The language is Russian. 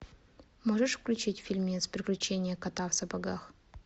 можешь включить фильмец приключения кота в сапогах